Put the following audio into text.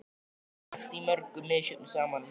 Við höfum lent í mörgu misjöfnu saman.